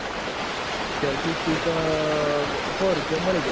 selafi stik હો રૂપિયા મો માલી જાય